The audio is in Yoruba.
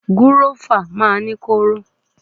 Gúrófà máa ń ní kóóró.